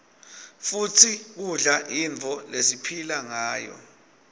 futsi kudla yintfo lesiphila ngayo